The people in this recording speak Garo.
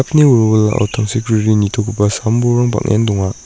wilwilao tangsekriri nitogipa sam bolrang bang·en donga.